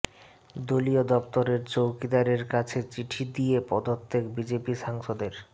দলীয় দফতরের চৌকিদারের কাছে চিঠি দিয়ে পদত্যাগ বিজেপি সাংসদের